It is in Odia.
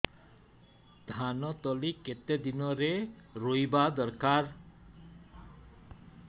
ଧାନ ତଳି କେତେ ଦିନରେ ରୋଈବା ଦରକାର